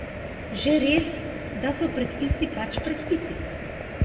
Že res, da so predpisi pač predpisi.